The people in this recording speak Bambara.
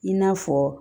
I n'a fɔ